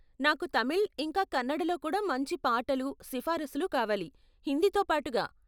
నాకు తమిళ్, ఇంకా కన్నడలో కూడా మంచి పాటలు, సిఫారసులు కావాలి, హిందీతో పాటుగా.